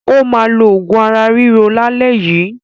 Ó máa lo òògùn ara-ríro lálẹ́ yìí.